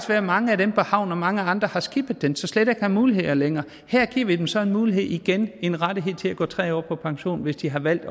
være at mange af dem på havnen og mange andre har skippet den så de slet ikke har muligheder længere her giver vi dem så en mulighed igen en rettighed til at gå tre år tidligere på pension hvis de har valgt